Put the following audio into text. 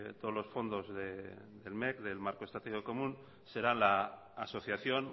todos los fondos del mec del marco estratégico común serán la asociación